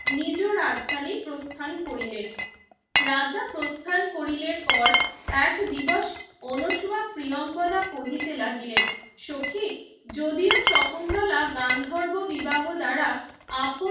নিজ রাজধানে প্রস্থান করিলেন রাজা প্রথান কোরিলের পর এক দিবস অনসহা ও প্রিয়াঙ্গদা কহিতে লাগিলেন সখি যদিও শকুন্তলা গান্ধর্ব বিবাহ দ্বারা আপন